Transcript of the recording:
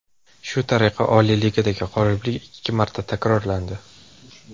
Shu tariqa Oliy Ligadagi g‘oliblik ikki marta takrorlandi.